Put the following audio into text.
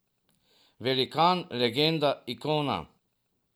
Velikan, legenda, ikona ...